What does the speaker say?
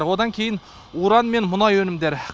одан кейін уран мен мұнай өнімдері